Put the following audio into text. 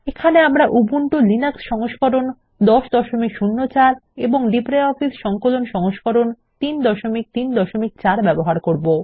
এখানে আমরা Ubuntu Linux 1004 এবং লিব্রিঅফিস সংকলন সংস্করণ 334 ব্যবহার করব